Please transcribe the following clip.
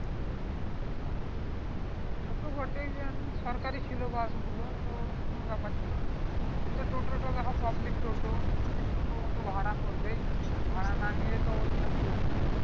সে তো বটে জান সরকারি ছিলো বাস গুলো তো কোন ব্যাপার ছিলো না সে টোটাল তো এখন public টোটো ও তো ভাড়া করবেই ভাড়া না নিলে তো ও চলবে না